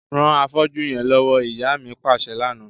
Ran afọ́jú yẹn lọwọ, ìyá mi paṣẹ lana.